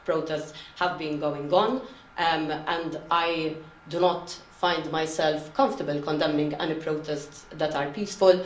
A lot of protests have been going on and I do not find myself comfortable condemning any protests that are peaceful.